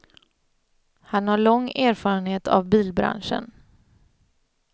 Han har lång erfarenhet av bilbranschen.